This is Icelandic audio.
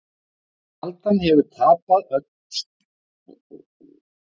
Stjarnan hefur tapað öllum þremur leikjum sínum á mótinu.